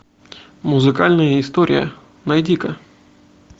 музыкальная история найди ка